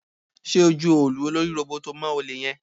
Ṣé o ju òòlù olórí róbótó mọ́ olè yẹn?